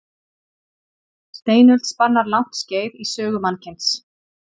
Steinöld spannar langt skeið í sögu mannkyns.